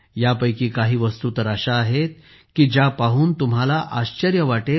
यापैकी काही वस्तू अशा आहेत ज्या पाहून तुम्हांला आश्चर्य वाटेल